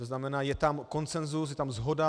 To znamená, je tam konsenzus, je tam shoda.